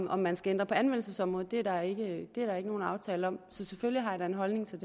om man skal ændre på anvendelsesområdet er der ikke nogen aftale om så selvfølgelig har jeg da en holdning til